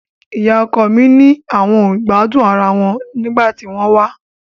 Ìyá ọkọ mi ni àwọn ò gbádùn ara wọn nígbà tí wọ́n wá